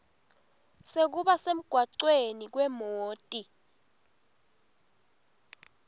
sekuba semgwaceni kwemoti